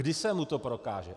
Kdy se mu to prokáže?